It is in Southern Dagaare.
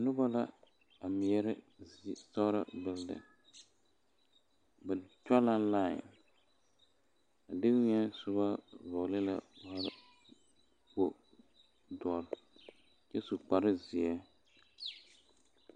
Noba la a meɛre zie sitɔɔre bulden ba tɔge la lae a dewiɛ soba vɔgle la nebɛ kpo doɔre kyɛ su kpare ziɛ.